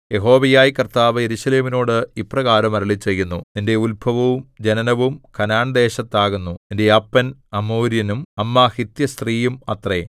യഹോവയായ കർത്താവ് യെരൂശലേമിനോട് ഇപ്രകാരം അരുളിച്ചെയ്യുന്നു നിന്റെ ഉത്ഭവവും ജനനവും കനാൻദേശത്താകുന്നു നിന്റെ അപ്പൻ അമോര്യനും അമ്മ ഹിത്യസ്ത്രീയും അത്രേ